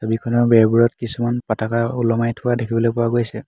ছবিখনৰ বেৰবোৰত কিছুমান পাতাকা ওলমাই থোৱা দেখিবলৈ পোৱা গৈছে।